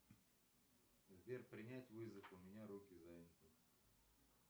сбер принять вызов у меня руки заняты